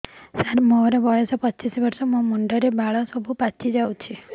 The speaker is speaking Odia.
ସାର ମୋର ବୟସ ପଚିଶି ବର୍ଷ ମୋ ମୁଣ୍ଡରେ ବାଳ ସବୁ ପାଚି ଯାଉଛି